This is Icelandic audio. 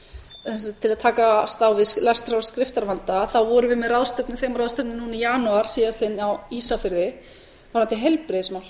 sem sagt til að takast á við lestrar og skriftarvanda vorum við með þemaráðstefnu núna í janúar síðastliðnum á ísafirði varðandi heilbrigðismál